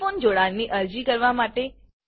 telephone જોડાણની અરજી કરવા માટે